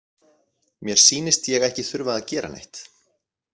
Mér sýnist ég ekki þurfa að gera neitt.